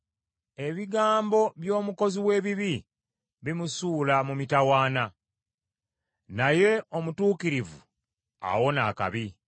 Ebigambo by’omukozi w’ebibi bimusuula mu mitawaana, naye omutuukirivu awona akabi.